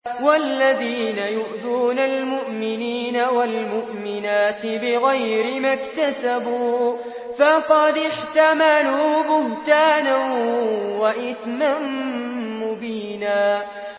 وَالَّذِينَ يُؤْذُونَ الْمُؤْمِنِينَ وَالْمُؤْمِنَاتِ بِغَيْرِ مَا اكْتَسَبُوا فَقَدِ احْتَمَلُوا بُهْتَانًا وَإِثْمًا مُّبِينًا